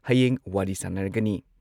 ꯍꯌꯦꯡ ꯋꯥꯔꯤ ꯁꯥꯟꯅꯔꯒꯅꯤ ꯫